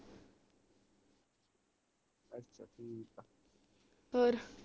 ਹੋਰ